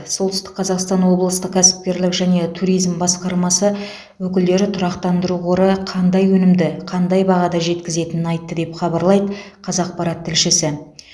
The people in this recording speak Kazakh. солтүстік қазақстан облысты кәсіпкерлік және туризм басқармасы өкілдері тұрақтандыру қоры қандай өнімді қандай бағада жеткізетінін айтты деп хабарлайды қазақпарат тілшісі